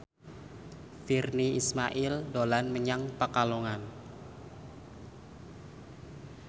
Virnie Ismail dolan menyang Pekalongan